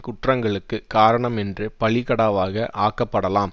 குற்றங்களுக்குக் காரணம் என்று பலிக்கடாவாக ஆக்கப்படலாம்